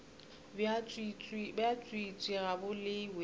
bja tswiitswii ga bo lewe